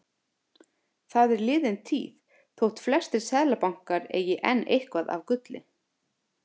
Það er liðin tíð þótt flestir seðlabankar eigi enn eitthvað af gulli.